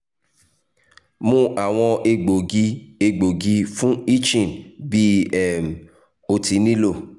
mu awọn egboogi egboogi fun itching bi um o ti nilo